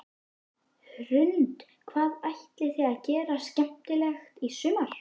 Hrund: Hvað ætlið þið að gera skemmtilegt í sumar?